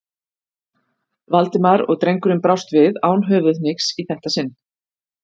Valdimar og drengurinn brást loks við, án höfuðhnykks í þetta sinn.